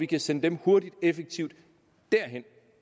kan sende dem hurtigt effektivt derhen